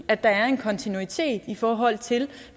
at der er en kontinuitet i forhold til